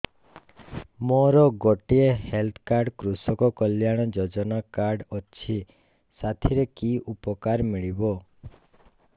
ମୋର ଗୋଟିଏ health card କୃଷକ କଲ୍ୟାଣ ଯୋଜନା କାର୍ଡ ଅଛି ସାଥିରେ କି ଉପକାର ମିଳିବ